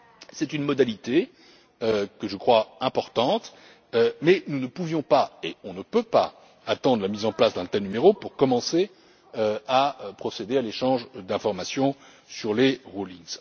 C'est une modalité que je crois importante, mais nous ne pouvions pas, et nous ne pouvons pas, attendre la mise en place d'un tel numéro pour commencer à procéder à l'échange d'informations sur les rescrits.